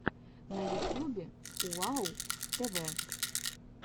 на ютюбе уау тв